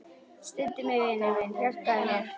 Styddu mig, vinur minn, hjálpaðu mér.